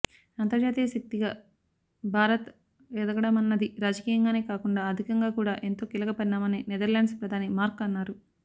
అంతర్జాతీయ శక్తిగా భారత్ ఎదగడమన్నది రాజకీయంగానే కాకుండా ఆర్థికంగా కూడా ఎంతో కీలక పరిణామమని నెదర్లాండ్స్ ప్రధాని మార్క్ అన్నారు